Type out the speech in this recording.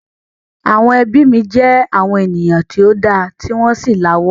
Àwọn ẹbí mi jẹ àwọn ènìyàn tí o da ti wọn sì la'wó.